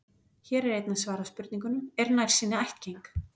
Hér er einnig svarað spurningunum: Er nærsýni ættgeng?